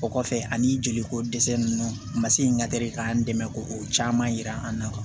O kɔfɛ ani joliko dɛsɛ ninnu u ma se ka teli k'an dɛmɛ k'o caman yira an na